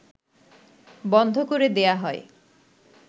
বন্ধ করে দেয়া হয়